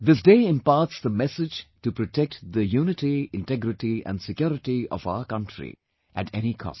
This day imparts the message to protect the unity, integrity and security of our country at any cost